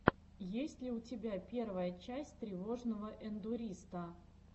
есть ли у тебя первая часть тревожного эндуриста